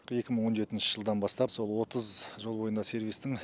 екі мың он жетінші жылдан бастап сол отыз жол бойындағы сервистің